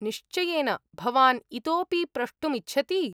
निश्वयेन, भवान् इतोपि प्रष्टुम् इच्छति?